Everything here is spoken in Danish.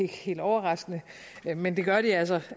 helt overraskende men det gør de altså